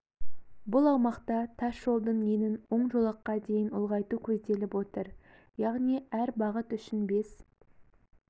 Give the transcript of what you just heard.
бұл аумақта тас жолдың енін он жолаққа дейін ұлғайту көзделіп отыр яғни әр бағыт үшін бес